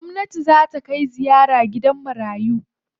Gwamnati zaa ta kai ziyara gidan marayu.